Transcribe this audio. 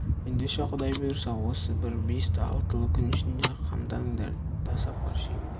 ендеше құдай бұйырса осы бір бесті-алтылы күн ішінде қамданыңдар да сапар шегіңдер